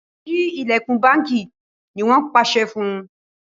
Sí ilẹkùn bánkì! ní wón pàṣẹ fún